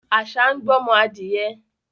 Àṣà ń gbọ́mọ adìẹ